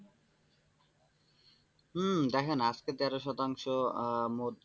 হম দেখেন আজকে তেরো শতাংশ মোট,